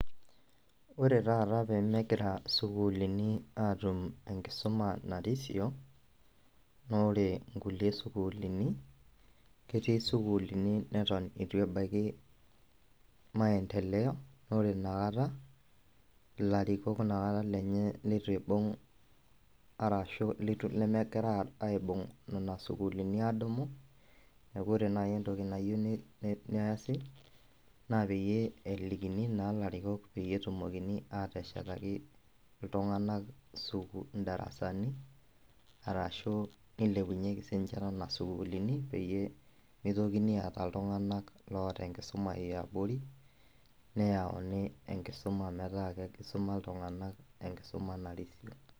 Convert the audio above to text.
Ore taata pemegira isukuulini atum enkisuma narisio, nore inkulie sukuulini, ketii sukuulini neton itu ebaiki maendeleo, nore inakata, ilarikok nakata lenye leitu ibung' arashu litu lemegira aibung' nena sukuulini adumu, neku ore nai entoki nayieu neesi, naa peyie elikini naa larikok peyie etumokini ateshetaki iltung'anak idarasani, arashu nilepunyeki sinche nena sukuulini, peyie mitokini aata iltung'anak loota enkisuma eabori, neyauni enkisuma metaa kisuma iltung'anak enkisuma narisio.